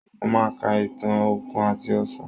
Mo máa ka ìtàn Òkun àti Ọ̀sà